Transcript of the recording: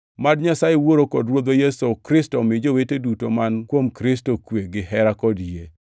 Mad Nyasaye Wuoro kod Ruodhwa Yesu Kristo omi jowete duto man kuom Kristo kwe, gihera kod yie.